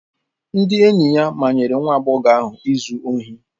Ndị enyi ya manyere nwa agbọghọ ahụ ịzụ ohi.